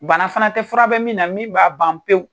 Bana fana tɛ, fura bɛ min na, min b'a ban pewu.